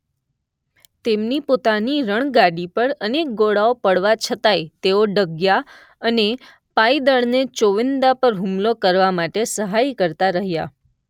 તેમની પોતાની રણગાડી પર અનેક ગોળાઓ પડવા છતાંય તેઓ ડગ્યા અને પાયદળને ચોવીંદા પર હુમલો કરવા માટે સહાય કરતા રહ્યા.